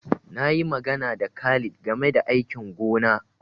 Na yi magana da Khalid game da aikin gona.